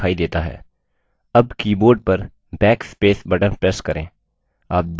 अब keyboard पर backspace button press करें